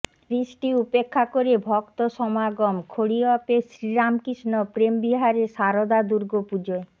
বৃষ্টি উপেক্ষা করে ভক্তসমাগম খড়িয়পের শ্রীরামকৃষ্ণ প্রেমবিহারে সারদা দুর্গাপুজোয়